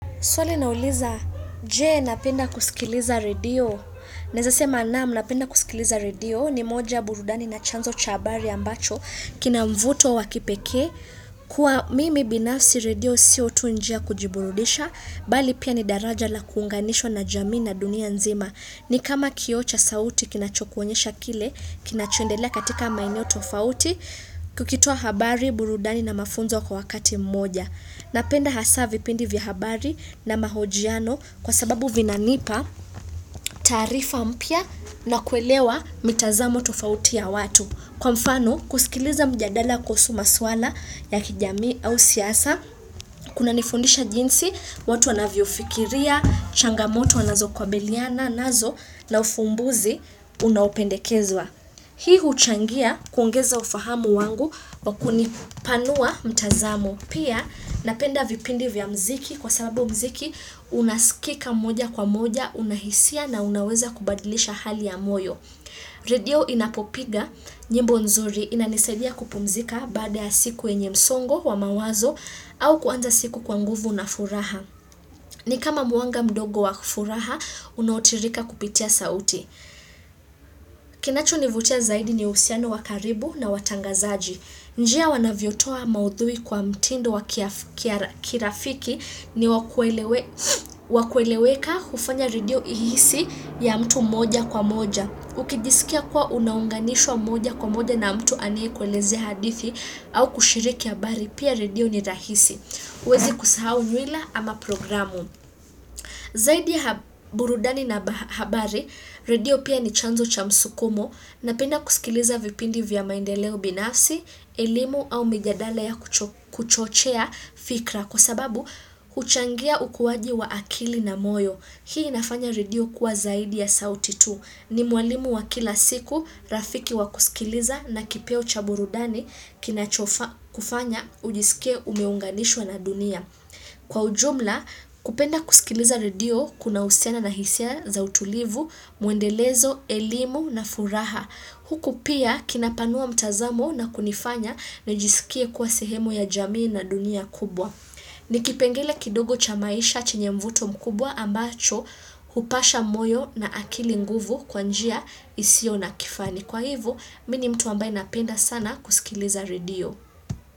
Swali inauliza, je napenda kusikiliza radio? Naweza sema naam napenda kusikiliza radio ni moja burudani na chanzo cha habari ambacho kina mvuto wakipekee. Kwa mimi binafsi radio sio tu njia ya kujiburudisha, bali pia ni daraja la kuunganishwa na jamii na dunia nzima. Ni kama kioo cha sauti kinachokuonyesha kile, kinachoendelea katika maeneo tofauti, kukitoa habari, burudani na mafunzo kwa wakati mmoja. Napenda hasaa vipindi vya habari na mahojiano kwa sababu vinanipa, tarifa mpya na kuelewa mitazamo tofauti ya watu. Kwa mfano, kusikiliza mjadala kuhusu maswala ya kijamii au siasa, kunanifundisha jinsi, watu wanavyofikiria, changamoto wanazo kabiliana, nazo na ufumbuzi unaopendekezwa. Hii huchangia kuongeza ufahamu wangu kwa kunipanua mtazamo. Pia napenda vipindi vya mziki kwa sababu mziki unasikika moja kwa moja unahisia na unaweza kubadilisha hali ya moyo. Radio inapopiga nyimbo nzuri inanisaidia kupumzika baada ya siku yenye msongo wa mawazo au kuanza siku kwa nguvu na furaha. Ni kama mwanga mdogo wa furaha, unaotiririka kupitia sauti. Kinachonivutia zaidi ni uhusiano wa karibu na watangazaji. Njia wanavyotoa maudhui kwa mtindo wa kirafiki ni wakueleweka kufanya radio ihisi ya mtu moja kwa moja. Ukijisikia kwa unaunganishwa moja kwa moja na mtu aneyekwelezea hadithi au kushiriki habari pia radio ni rahisi. Huwezi kusahau mila ama programu. Zaidi ya burudani na habari, redio pia ni chanzo cha msukumo napenda kusikiliza vipindi vya maendeleo binafsi, elimu au mijadala ya kuchochea fikra kwa sababu huchangia ukuwaji wa akili na moyo. Hii inafanya redio kuwa zaidi ya sauti tu. Ni mwalimu wa kila siku, rafiki wa kusikiliza na kipeo cha burudani kinachokufanya ujisikie umeunganishwa na dunia. Kwa ujumla, kupenda kusikiliza radio kuna husiana na hisia za utulivu, mwendelezo, elimu na furaha. Huku pia kinapanua mtazamo na kunifanya nijisikie kuwa sehemu ya jamii na dunia kubwa. Ni kipengele kidogo cha maisha chenye mvuto mkubwa ambacho hupasha moyo na akili nguvu kwa njia isio na kifani. Kwa hivo, mimi ni mtu ambaye napenda sana kusikiliza radio.